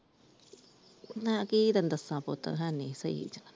ਮੈ ਕਿ ਤੈਨੂੰ ਦਸਾ ਪੁੱਤ ਹੈਨੀ ਸਹੀ ।